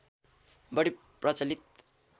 बढी प्रचलित